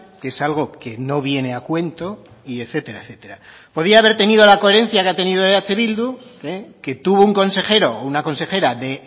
que es algo que no viene a cuento y etcétera etcétera podía haber tenido la coherencia que ha tenido eh bildu que tuvo un consejero una consejera de